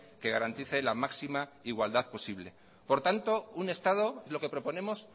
que garantice la máxima igualdad posible por tanto un estado lo que proponemos